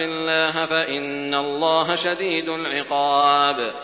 اللَّهَ فَإِنَّ اللَّهَ شَدِيدُ الْعِقَابِ